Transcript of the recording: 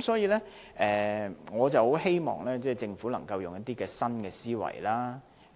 所以，我十分希望政府能夠運用新思維，